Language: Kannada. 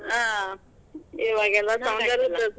ಹಾ ಇವಾಗೆಲ್ಲಾ ಸೌಂದರ್ಯದ್ .